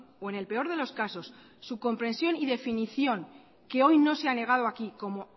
o en el peor de los casos su comprensión y definición que hoy no se ha negado aquí como